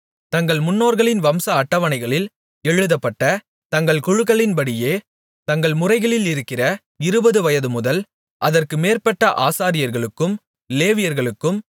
தங்கள் முன்னோர்களின் வம்ச அட்டவணைகளில் எழுதப்பட்ட தங்கள் குழுக்களின்படியே தங்கள் முறைகளிலிருக்கிற இருபது வயதுமுதல் அதற்கு மேற்பட்ட ஆசாரியர்களுக்கும் லேவியர்களுக்கும்